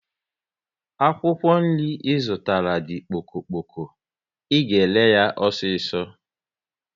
Akwụkwọ nri Ị zụtara di kpoko kpoko, ị ga ere yá osiso